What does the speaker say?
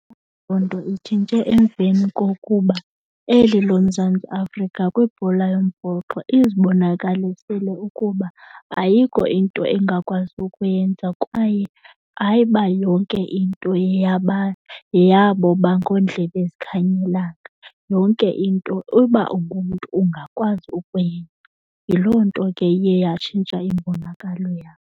Loo nto itshintshe emveni kokuba eli loMzantsi Afrika kwibhola yombhoxo izibonakalisele ukuba ayikho into engakwazi ukuyenza kwaye, hayi, uba yonke into yeyabo bangoondlela zikhanyilanga. Yonke into uba ungumntu ungakwazi ukuyenza. Yiloo nto ke iye yatshintsha imbonakalo yabo.